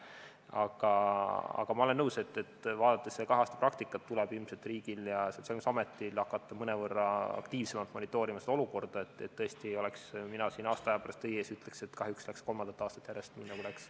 Aga ma olen nõus, et vaadates seda kahe aasta praktikat, tuleb ilmselt riigil ja Sotsiaalkindlustusametil hakata mõnevõrra aktiivsemalt monitoorima seda olukorda, et tõesti ei oleks ma siin aasta aja pärast teie ees ega ütleks, et kahjuks läks kolmandat aastat järjest nii, nagu läks.